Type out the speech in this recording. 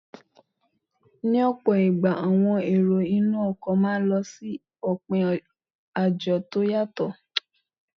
Ní ọ̀pọ̀ ìgbà, àwọn èrò inú ọkọ̀ máà ń lọ òpin àjò tó yàtọ